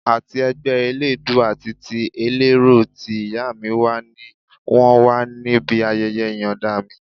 Àti ẹgbẹ́ eléèédú àti ti ẹlẹ́rọ tí ìyá mi wà ni wọ́n wà níbí ayẹyẹ ìyọ̀nda mi